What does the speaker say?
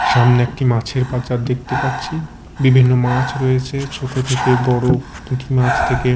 সামনে একটি মাছের বাজার দেখতে পাচ্ছি বিভিন্ন মাছ রয়েছে ছোট থেকে বড়ো পুঁটিমাছ থেকে--